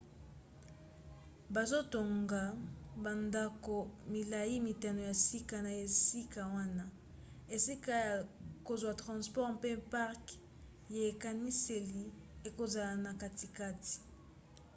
bazotonga bandako milai mitano ya sika na esika wana esika ya kozwa transport mpe parke ya ekaniseli ekozala na katikati